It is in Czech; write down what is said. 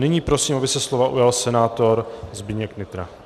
Nyní prosím, aby se slova ujal senátor Zdeněk Nytra.